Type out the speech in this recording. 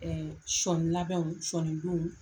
sɔni labɛnw , sɔni don.